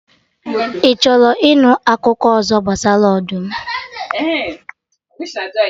Ị chọrọ ịnụ akụkọ ọzọ gbasara ọdụm?